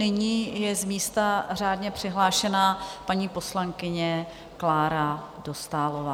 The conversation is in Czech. Nyní je z místa řádně přihlášena paní poslankyně Klára Dostálová.